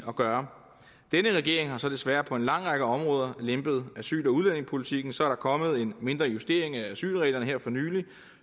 at gøre denne regering har så desværre på en lang række områder lempet asyl og udlændingepolitikken så er der kommet en mindre justering af asylreglerne her for nylig